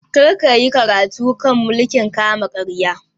Kar ka yi karatu a kan mulkin kama karya!